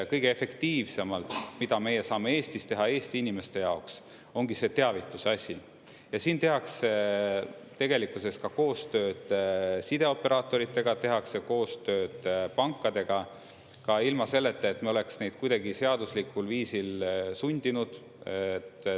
Kõige efektiivsemalt, mida meie saame Eestis teha, Eesti inimeste jaoks, ongi see teavituse asi ja siin tehakse tegelikkuses ka koostööd sideoperaatoritega, tehakse koostööd pankadega ka ilma selleta, et me oleks neid kuidagi seaduslikul viisil sundinud.